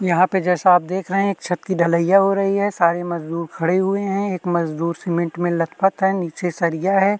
यहाँ पे जैसा आप देख रहें हैं एक छत्त की डलिया हो रही है सारे मज़दूर खड़े हुए हैं एक मज़दूर पेंट में लत पट है नीचे सरिया है।